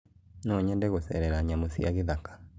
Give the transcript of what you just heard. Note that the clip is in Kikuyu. Nonyende gũcerera nyamũ cia gĩthaka